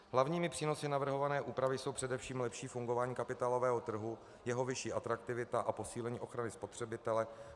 Hlavními přínosy navrhované úpravy jsou především lepší fungování kapitálového trhu, jeho vyšší atraktivita a posílení ochrany spotřebitele.